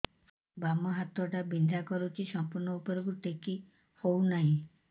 ବାମ ହାତ ଟା ବିନ୍ଧା କରୁଛି ସମ୍ପୂର୍ଣ ଉପରକୁ ଟେକି ହୋଉନାହିଁ